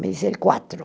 Me disse, quatro.